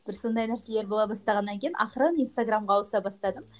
бір сондай нәрселер бола бастағаннан кейін ақырын инстаграмға ауыса бастадым